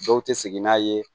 Dɔw tɛ segin n'a ye